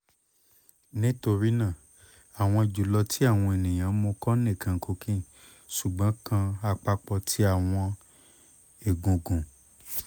nitorina awọn julọ ti awọn eniyan mu ko nikan cocaine sugbon kan apapo ti awọn egungun